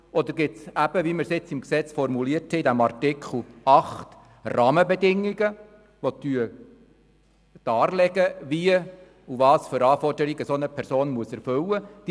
Oder gibt es, wie in Artikel 8 formuliert, Rahmenbedingungen, die darlegen, welche Anforderung eine Person erfüllen muss?